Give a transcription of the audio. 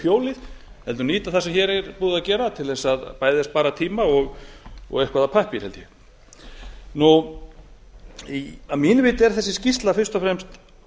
hjólið heldur nýta það sem hér er búið að gera til að bæði spara tíma og eitthvað af pappír held ég að mínu viti er þessi skýrsla fyrst og fremst